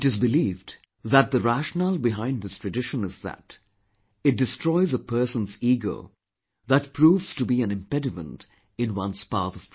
It is believed that the rationale behind this tradition is that, it destroys his ego that proves to be an impediment in one's path of progress